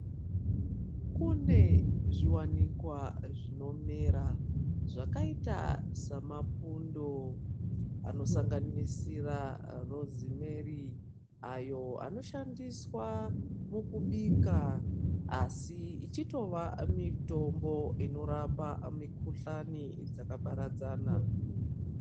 Kune zviwaniikwa zvinomera zvakaita semapundo anosanganisira rosemary ayo anoshandiswa mukubika asi ichitova mitombo inorapa mikuhlani dzakaparadzana.